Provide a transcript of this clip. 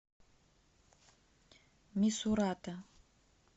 мисурата